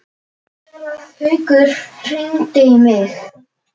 Séra Haukur hringdi í mig.